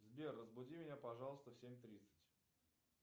сбер разбуди меня пожалуйста в семь тридцать